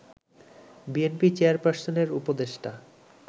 BNP চেয়ারপার্সনের উপদেষ্টা